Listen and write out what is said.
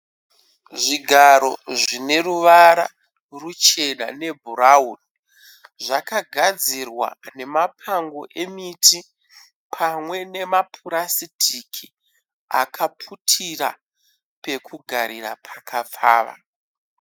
Zvigaro zvineruvara ruchena nebhurauni. Zvakagadzirwa nepango emiti pamwe nemapurasitiki akaputira pakugarira pakapfava.